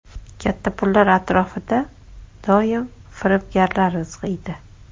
Katta pullar atrofida doim firibgarlar izg‘iydi.